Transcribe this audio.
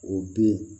O den